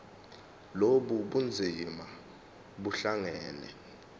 lobu bunzima buhlangane